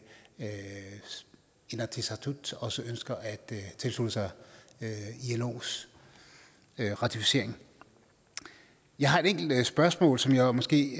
inatsisartut også ønsker at tilslutte sig ilos ratificering jeg har et enkelt spørgsmål som jeg måske